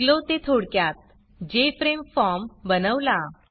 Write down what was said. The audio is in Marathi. शिकलो ते थोडक्यात जेएफआरएमई फॉर्म बनवला